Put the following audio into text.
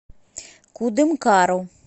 кудымкару